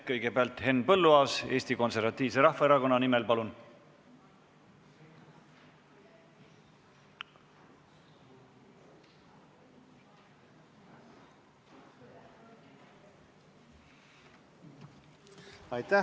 Kõigepealt Henn Põlluaas Eesti Konservatiivse Rahvaerakonna nimel, palun!